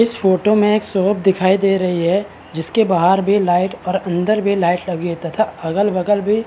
इस फोटो में एक शॉप दिखाई दे रही है जिसके बहार भी लाइट तथा अंदर भी लाइट लगी है और तथा अगल बगल भी --